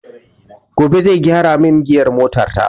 Gobe zai gyara min giyar mota ta